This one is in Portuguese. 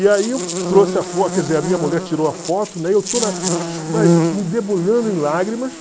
E aí eu trouxe a quer dizer, a minha mulher tirou a foto, né, eu estou me debulhando em lágrimas.